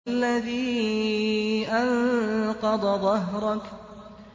الَّذِي أَنقَضَ ظَهْرَكَ